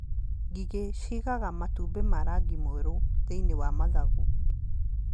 Ngigĩ ciĩigaga matumbĩ ma rangi mwerũ thĩiniĩ wa mathangũ.